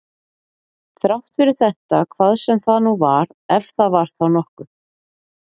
Þrátt fyrir þetta hvað sem það nú var, ef það var þá nokkuð.